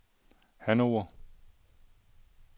Hannover